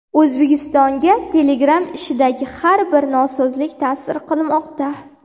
O‘zbekistonga Telegram ishidagi har bir nosozlik ta’sir qilmoqda.